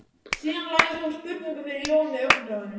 Síðan lagði hún spurningu fyrir Jón með augnaráðinu.